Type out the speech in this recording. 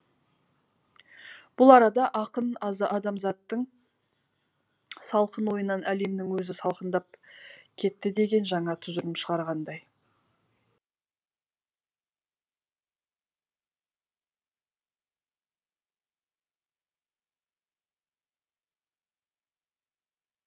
бұл арада ақын адамзаттың салқын ойынан әлемнің өзі салқындап кетті деген жаңа тұжырым шығарғандай